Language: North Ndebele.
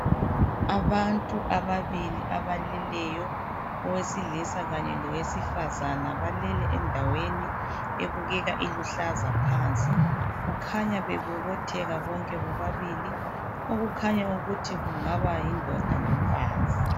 Abantu ababili abaleleyo owesilisa kanye lowesifazana balele endaweni ebubeka iluhlaza phansi kukhanya bebobotheka bonke bobabili okukhanya ukuthi kungaba yindoda lomfazi.